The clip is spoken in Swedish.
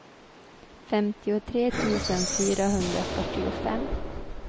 femtiotre tusen fyrahundrafyrtiofem